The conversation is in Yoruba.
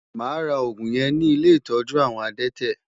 Máa ra òògùn yẹn ní ilé ìtọ́jú àwọn adẹ́tẹ̀.